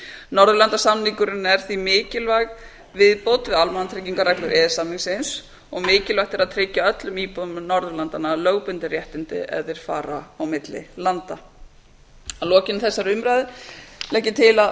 norðurlandasamningurinn er því mikilvæg viðbót við almannatryggingareglur e e s samningsins og mikilvægt er að tryggja öllum íbúum norðurlandanna lögbundin réttindi ef þeir fara á milli landa að lokinni þessari umræðu legg ég til að